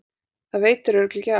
Það veitir örugglega ekki af.